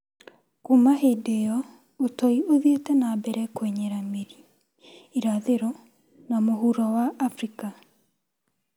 Kuma hĩndĩ ĩyo, ũtoi ũthiĩte na mbere kũenyera mĩri irathĩro na mũhuro wa Afrika.